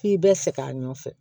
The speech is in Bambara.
F'i bɛ fɛ k'a nɔfɛ